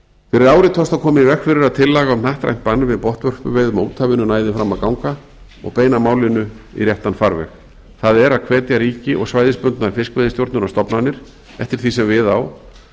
fyrir ári tókst að koma í veg fyrir að tillaga um hnattrænt bann við botnvörpuveiðum á úthafinu næði fram að ganga og beina málinu í réttan farveg það er að hvetja ríki og svæðisbundnar fiskveiðistjórnunarstofnanir eftir því sem við á